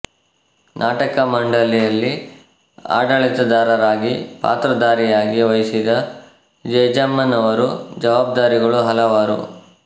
ನಾಟಕ ಮಂಡಲಿಯಲ್ಲಿ ಆಡಳಿತದಾರರಾಗಿ ಪಾತ್ರಧಾರಿಯಾಗಿ ವಹಿಸಿದ ಜೇಜಮ್ಮನವರು ಜವಾಬ್ದಾರಿಗಳು ಹಲವಾರು